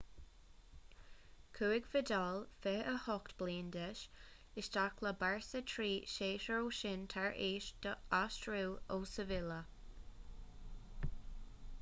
chuaigh vidal 28 bliain d'aois isteach le barça trí shéasúr ó shin tar éis dó aistriú ó sevilla